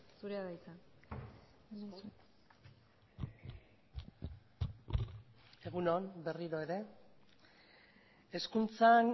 zurea da hitza egun on berriro ere hezkuntzan